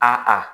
A a